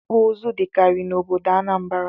Ịkpụ ụzụ dịkarị n'obodo Anambra